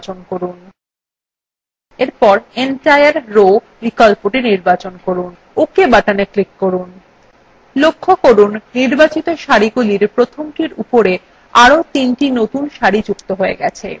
এরপর সম্পূর্ণ সারি বিকল্পটি নির্বাচন করুন ok button click করুন লক্ষ্য করুন নির্বাচিত সারিগুলির প্রথমটির উপরে চারটি নতুন সারি যুক্ত হয়েছে